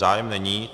Zájem není.